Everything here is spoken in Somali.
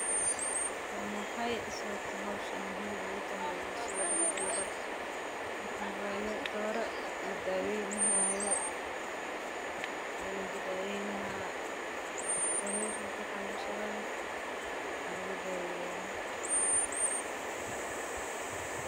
Waa maxay sababta howshani muhiim ugu tahay bulshada dexdeeda waa dooro la daweyni haayo iyo ninki daweyni lahaa.